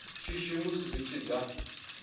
shishi musi zwi tshi da